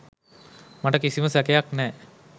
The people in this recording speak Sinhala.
මට කිසිම සැකයක් නෑ